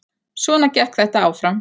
Svona gekk þetta áfram